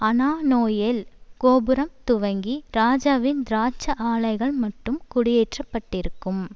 அனானோயேல் கோபுரம் துவக்கி ராஜாவின் திராட்ச ஆலைகள்மட்டும் குடியேற்றப்பட்டிருக்கும்